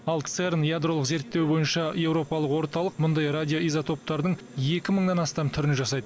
ал церн ядролық зерттеу бойынша европалық орталық мұндай радиоизотоптардың екі мыңнан астам түрін жасайды